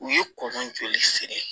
U ye kɔn joli siri